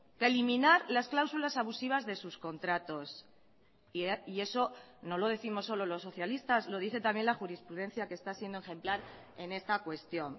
que eliminar las cláusulas abusivas de sus contratos y eso no lo décimos solo los socialistas lo dice también la jurisprudencia que está siendo ejemplar en esta cuestión